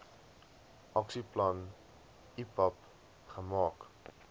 aksieplan ipap gemaak